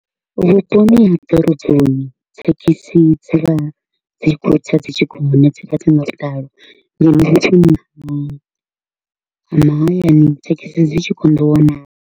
Vhuponi ha ḓoroboni thekhisi dzi vha dzi kho u tsa dzi tshi gonya, dzi vha dzi nga vhuḓalo ngeno vhu ha mahayani thekhisi dzi tshi konḓa u wanala.